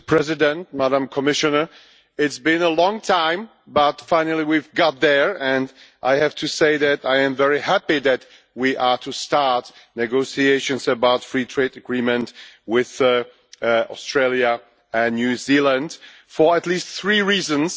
Mr President, Madam Commissioner, it has been a long time, but finally we've got there, and I have to say that I am very happy that we are about to start negotiations about free trade agreement with Australia and New Zealand for at least three reasons.